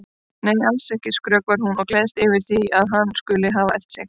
Nei, alls ekki, skrökvar hún og gleðst yfir því að hann skuli hafa elt sig.